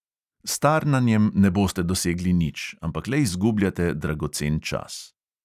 S tarnanjem ne boste dosegli nič, ampak le izgubljate dragocen čas.